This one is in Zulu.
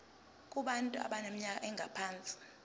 kubantu abaneminyaka engaphansi